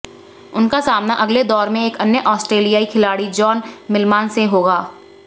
उनका सामना अगले दौर में एक अन्य आस्ट्रेलियाई खिलाड़ी जॉन मिलमान से होगा